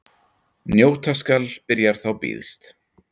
Njóta skal byrjar þá býðst.